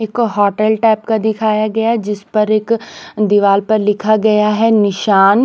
एक hotel type का दिखाया गया जिस पर एक दीवाल पर लिखा गया है निशान--